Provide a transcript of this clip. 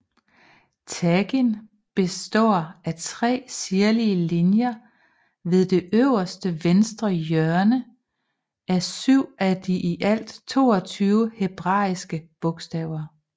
Tagin består af tre sirlige linjer ved det øverste venstre hjørne af syv af de i alt 22 hebraiske bogstaver